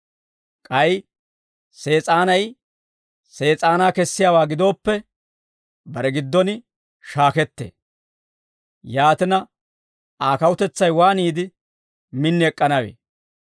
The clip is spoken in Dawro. K'ay Sees'aanay Sees'aanaa kessiyaawaa gidooppe, bare giddon shaakettee; yaatina, Aa kawutetsay waaniide min ek'k'anawee?